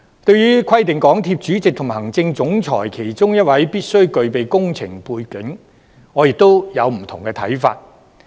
對於規定港鐵公司主席及行政總裁其中一位必須具備工程背景，我亦有不同的看法。